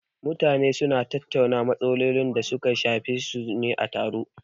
Mutane su na tattauna matsalolin da su ka shafe su ne a taro